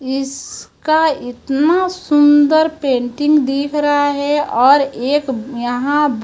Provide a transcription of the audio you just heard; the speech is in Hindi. इस का इतना सुंदर पेंटिंग दिख रहा है और एक यहां--